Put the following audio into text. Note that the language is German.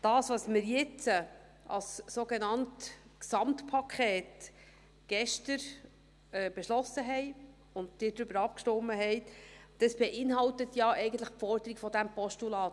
Was wir jetzt, als sogenanntes Gesamtpaket, gestern beschlossen haben und worüber Sie abgestimmt haben, das beinhaltet ja eigentlich die Forderungen dieses Postulats.